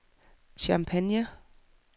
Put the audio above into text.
Champagne